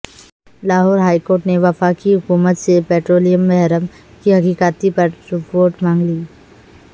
Lahore high court نے وفاقی حکومت سے پٹرولیم بحران کی تحقیقاتی رپورٹ مانگ لی